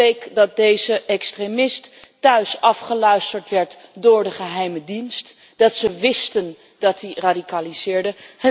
Het bleek dat deze extremist thuis afgeluisterd werd door de geheime dienst en dat ze wisten dat hij radicaliseerde.